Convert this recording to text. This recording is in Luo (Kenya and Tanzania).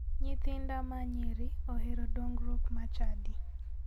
Nyithinda ma nyiri ohero dongruok mar chadi.